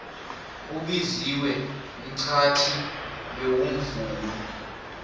ubiziwe mxhatjhi bewumvumi